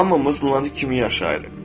Hamımız Lunatik kimi yaşayırıq.